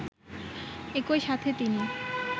একই সাথে তিনি